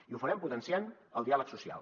i ho farem potenciant el diàleg social